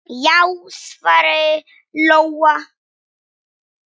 Já, svaraði Lóa.